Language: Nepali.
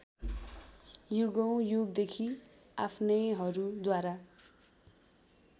युगौँ युगदेखि आफ्नैहरूद्वारा